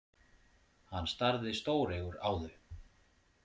Hann starði stóreygur á þau.